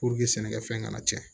sɛnɛkɛfɛn kana cɛn